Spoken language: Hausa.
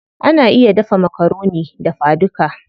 Ana iya dafa makaroni dafa duka.